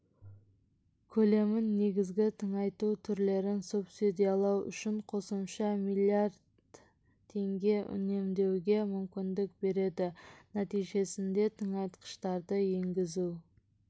көлемін негізгі тыңайту түрлерін субсидиялау үшін қосымша млд теңге үнемдеуге мүмкіндік береді нәтижесінде тыңайтқыштарды енгізу